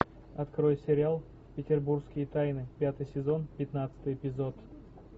открой сериал петербургские тайны пятый сезон пятнадцатый эпизод